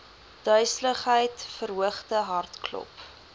duiseligheid verhoogde hartklop